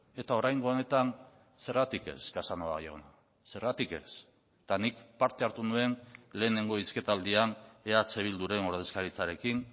eta oraingo honetan zergatik ez casanova jauna zergatik ez eta nik parte hartu nuen lehenengo hizketaldian eh bilduren ordezkaritzarekin